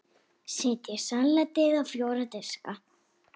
Setjið salatið á fjóra diska.